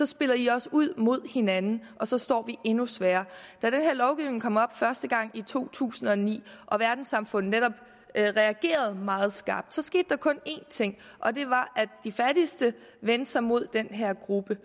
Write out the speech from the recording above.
spiller i os ud mod hinanden og så står vi endnu svagere da den her lovgivning kom op første gang i to tusind og ni og verdenssamfundet netop reagerede meget skarpt skete der kun én ting og det var at de fattigste vendte sig imod den her gruppe